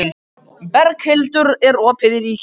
Berghildur, er opið í Ríkinu?